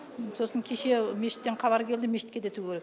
сосын кеше мешіттен хабар келді мешітке де тігу керек